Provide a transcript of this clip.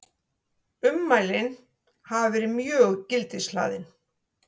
Ummælin hafi verið mjög gildishlaðin